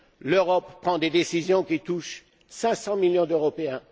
L'Europe prend des décisions qui touchent 500 millions d'Européens.